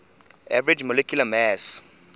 average molecular mass